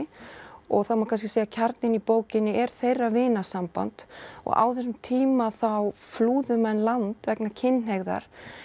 og það má kannski segja að kjarninn í bókinni er þeirra vinasamband og á þessum tíma þá flúðu menn land vegna kynhneigðar